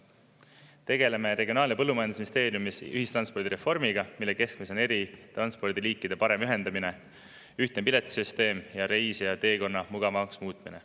Tegeleme Regionaal- ja Põllumajandusministeeriumi ühistranspordireformiga, mille keskmes on eri transpordiliikide parem ühendamine, ühtne piletisüsteem ja reisijateekonna mugavamaks muutmine.